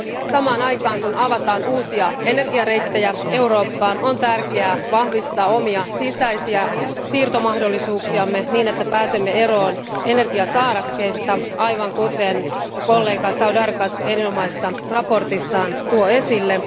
Samaan aikaan, kun avataan uusia energiareittejä Eurooppaan, on tärkeää vahvistaa omia sisäisiä siirtomahdollisuuksiamme, niin että pääsemme eroon energiasaarekkeista, aivan kuten kollega Saudargas erinomaisessa mietinnössään tuo esille.